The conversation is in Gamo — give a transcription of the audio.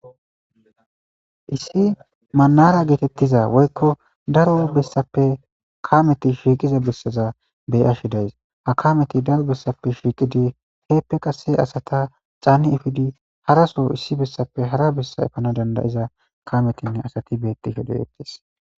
Issi manara geetettiza woykko daro bessappe kameti shiiqiza bessaza beyashidays ha kameti daro bessappe shiiqidi heeppe qase asata caanni ifidi haraso issi bessappe hara bessa efana dandayiza kametinne asati beetti hedoyettis.